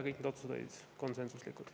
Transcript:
Kõik need otsused olid konsensuslikud.